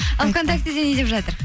ал вконтактеде не деп жатыр